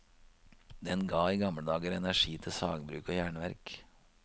Den ga i gamle dager energi til sagbruk og jernverk.